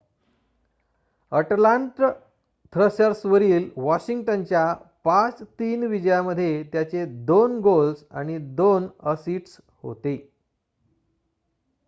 अटलांट थ्रॅशर्सवरील वॉशिंग्टनच्या 5-3 विजयात त्याचे 2 गोल्स आणि 2 असिस्ट्स होते